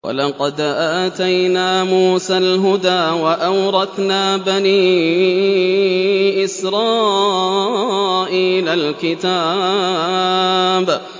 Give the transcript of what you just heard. وَلَقَدْ آتَيْنَا مُوسَى الْهُدَىٰ وَأَوْرَثْنَا بَنِي إِسْرَائِيلَ الْكِتَابَ